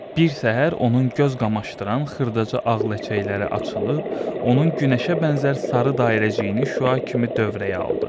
Bir səhər onun göz qamaşdıran xırdaca ağ ləçəkləri açılıb, onun günəşə bənzər sarı dairəciyini şüa kimi dövrəyə aldı.